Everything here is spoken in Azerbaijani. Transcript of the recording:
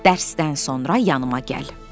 Dərsdən sonra yanıma gəl.